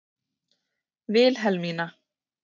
Vilhelmína